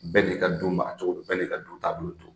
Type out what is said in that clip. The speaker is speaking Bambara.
Bɛɛ n'i ka du maracogo bɛɛ n'i ka du taabolo don